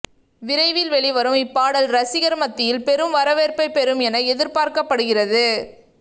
விரைவில் வெளிவரும் இப்பாடல் ரசிகர்கள் மத்தியில் பெரும் வரவேற்பைப்பெறும் என எதிர்பார்க்கப்படுகிறது